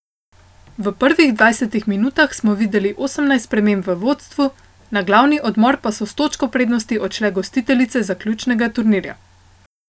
V prvih dvajsetih minutah smo videli osemnajst sprememb v vodstvu, na glavni odmor pa so s točko prednosti odšle gostiteljice zaključnega turnirja.